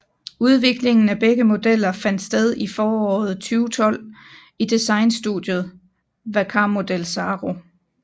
Udviklingen af begge modeller fandt sted i foråret 2012 i designstudiet Vercarmodel Saro